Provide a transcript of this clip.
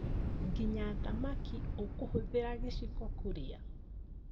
Nginya thamaki ũkũhũthĩra gĩciko kũrĩa?